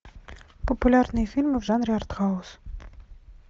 популярные фильмы в жанре арт хаус